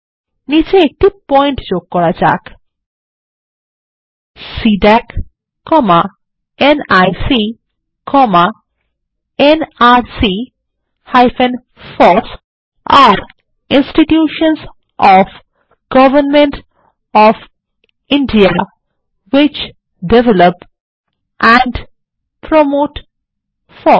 নীচে একটি পয়েন্ট যোগ করা যাক সিডিএসি নিক nrc ফস আরে ইন্সটিটিউশনসহ of government of India which develop and promote FOSS